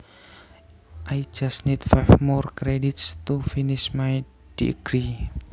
I just need five more credits to finish my degree